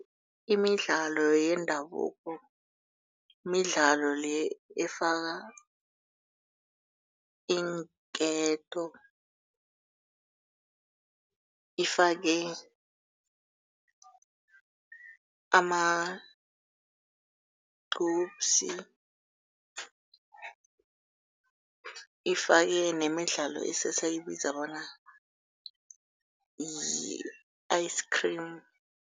Imidlalo yendabuko midlalo le efaka iinketo, ifake amagcupsi, ifake nemidlalo esisayibiza bona yi-ice cream.